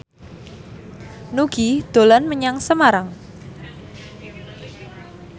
Nugie dolan menyang Semarang